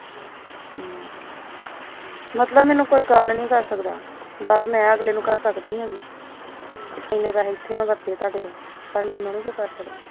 ਮਤਲਬ ਮੈਨੂੰ ਕੋਈ ਗਲ ਨੀ ਕਰ ਸਕਦਾ ਗੱਲ ਅਗਲੇ ਨੂੰ ਮੈਂ ਕਰ ਸਕਦੀ ਆਗੀ ਐਨੈ ਪੈਸੇ ਇਥੇ ਵਰਤੇ ਮੈ ਤੁਹਾਡੇ ਤੇ ਪਰ ਮੈਨੂੰ ਨੀ ਕਰ ਸਕਦਾ